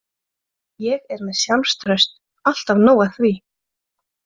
Ég er með sjálfstraust, alltaf nóg af því.